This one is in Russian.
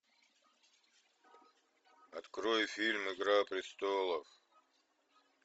открой фильм игра престолов